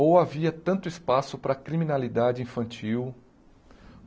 Ou havia tanto espaço para a criminalidade infantil?